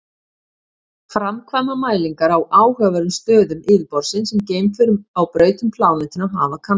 Framkvæma mælingar á áhugaverðum stöðum yfirborðsins sem geimför á braut um plánetuna hafa kannað.